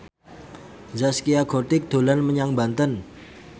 Zaskia Gotik dolan menyang Banten